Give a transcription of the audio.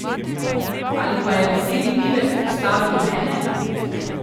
Ali pa je veseli pivec ustavil mene?